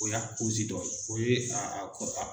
O y'a dɔ ye, o ye aa kɔ aa.